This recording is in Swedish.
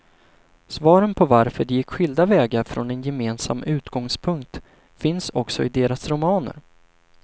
Svaren på varför de gick skilda vägar från en gemensam utgångspunkt finns också i deras romaner.